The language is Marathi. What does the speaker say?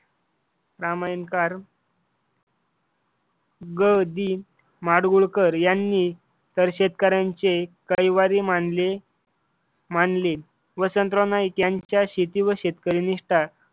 रामायणकार ग. दि. माडगूळकर यांनी तर शेतकऱ्यांचे कैवारी मानले मानले. वसंतराव नाईक यांच्या शेती व शेतकरी विषयी निष्ठा